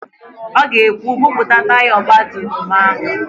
Ọ ga-ekwu, "buputa taya ọgbatumtum áhụ̀